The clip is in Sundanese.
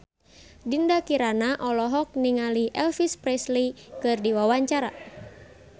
Dinda Kirana olohok ningali Elvis Presley keur diwawancara